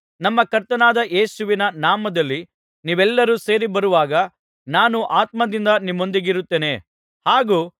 ನಮ್ಮ ಕರ್ತನಾದ ಯೇಸುವಿನ ನಾಮದಲ್ಲಿ ನೀವೆಲ್ಲರೂ ಸೇರಿ ಬರುವಾಗ ನಾನು ಆತ್ಮದಿಂದ ನಿಮ್ಮೊಂದಿಗಿರುತ್ತೇನೆ ಹಾಗೂ